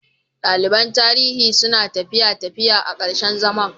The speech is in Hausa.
Daliban Tarihi suna tafiya Tafiya a ƙarshen zaman.